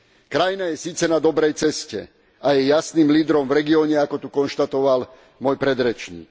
Krajina je síce na dobrej ceste a je jasným lídrom v regióne, ako tu konštatoval môj predrečník.